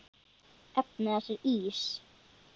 Efnið hans er ís.